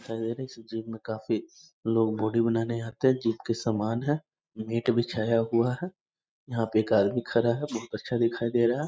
सवेरे से जिम में काफी लोग बॉडी बनाने आते हैं जिम के समान हैं नेट बिछाया हुआ है यहाँ पे एक आदमी खड़ा है बहुत अच्छा दिखाई दे रहा है।